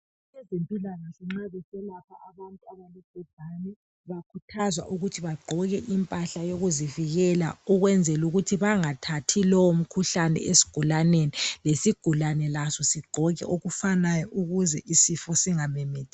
Abezempilakahle nxa beselapha abantu abalobhubhane bayakhuthazwa ukuthi bagqoke impahla yokuzivikela ukwenzelukuthi bangathathi lowomkhuhlane esigulaneni lesigulane laso sigqoke okufanayo ukuze isifo singamemetheki.